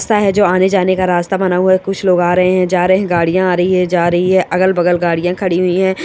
जो आने जाने का रास्ता बना हुआ है कुछ लोग आ रहे है जा रहे है गाड़िया आ रही हे जा रही है अगल बगल गाड़िया खड़ी हुई है।